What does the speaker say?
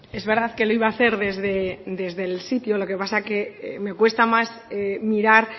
es verdad que lo iba a hacer desde el sitio lo que pasa que me cuesta más mirar